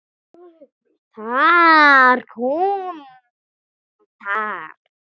Þar kom það.